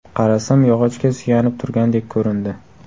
Qarasam, yog‘ochga suyanib turgandek ko‘rindi.